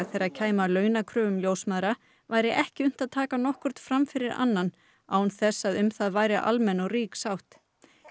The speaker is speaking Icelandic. þegar kæmi að launakröfum ljósmæðra væri ekki unnt að taka nokkurn fram fyrir annan án þess að um það væri almenn og rík sátt